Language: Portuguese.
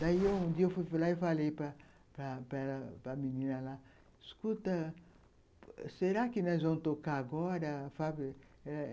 Daí, um dia, eu fui para para lá e falei para a menina lá, escuta, será que nós vamos tocar agora a fábrica?